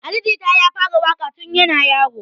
Ali jita ya fara waƙa tun yana yaro